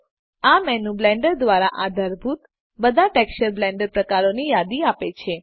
આ menu Blender દ્વારા આધારભૂત બધા ટેક્સચર બ્લેન્ડ પ્રકારો ની યાદી આપે છે